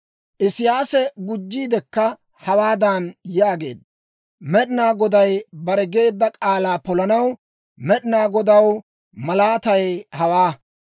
Isiyaasi gujjiidikka hawaadan yaageedda; «Med'inaa Goday bare geedda k'aalaa polanaw Med'inaa Godaw malaatay hawaa: